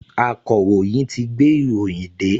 Akọ̀ròyìn ti gbé ìròyìn dé